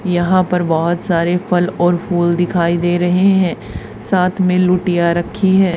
यहां पर बहोत सारे फल और फूल दिखाई दे रहे हैं साथ में लुटिया रखी है।